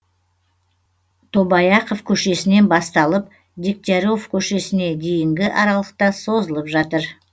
тобаяқов көшесінен басталып дегтяров көшесіне дейінгі аралықта созылып жатыр